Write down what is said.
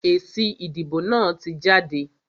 Èsì ìdìbò náà tí jáde.